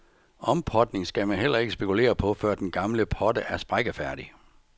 Ompotning skal man heller ikke spekulere på, før den gamle potte er sprækkefærdig.